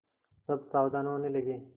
सब सावधान होने लगे